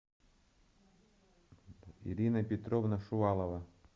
ирина петровна шувалова